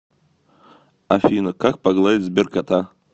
афина как погладить сберкота